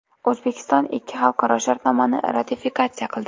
O‘zbekiston ikkita xalqaro shartnomani ratifikatsiya qildi.